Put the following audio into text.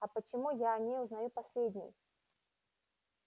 а почему я о ней узнаю последний